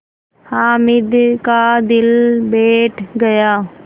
हामिद का दिल बैठ गया